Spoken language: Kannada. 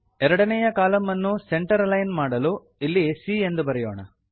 ಎರಡನೆಯ ಕಾಲಂ ಅನ್ನು ಸೆಂಟರ್ ಅಲಿಗ್ನ್ ಮಾಡಲು ಇಲ್ಲಿ c ಎಂದು ಬರೆಯೋಣ